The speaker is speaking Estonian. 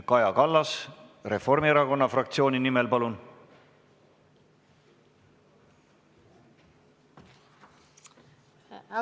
Kaja Kallas Reformierakonna fraktsiooni nimel, palun!